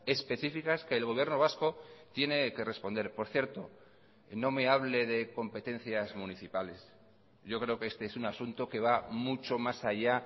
específicas que el gobierno vasco tiene que responder por cierto no me hable de competencias municipales yo creo que este es un asunto que va mucho más allá